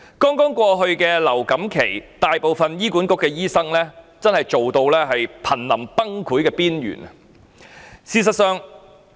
在剛過去的流感高峰期，大部分醫管局醫生皆工作至瀕臨崩潰的邊緣。